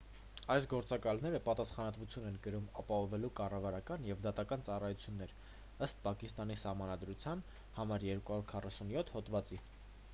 այս գործակալները պատասխանատվություն են կրում ապահովելու կառավարական և դատական ծառայություններ ըստ պակիստանի սահմանադրության n247 հոդվածի